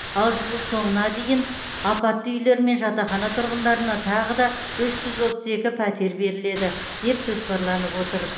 ал жыл соңына дейін апатты үйлер мен жатақхана тұрғындарына тағы да үш жүз отыз екі пәтер беріледі деп жоспарланып отыр